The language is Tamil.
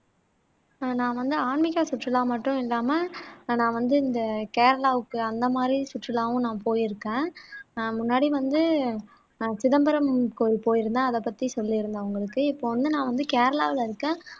நான் வந்து ஆன்மீக சுற்றுலா மட்டும் இல்லாம நான் வந்து இந்த கேரளாவுக்கு அந்த மாதிரி சுற்றுலாவும் நான் போயிருக்கேன் அஹ் முன்னாடி வந்து சிதம்பரம் கோயில் போயிருந்தேன் அதை பத்தி சொல்லியிருந்தேன் உங்களுக்கு இப்போ வந்து நான் வந்து கேரளாவுல இருக்க